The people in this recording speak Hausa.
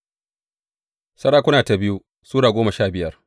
biyu Sarakuna Sura goma sha biyar